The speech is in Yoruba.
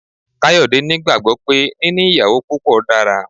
Kayode ni gbàgbo pé níní ìyàwó púpọ dára.